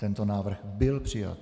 Tento návrh byl přijat.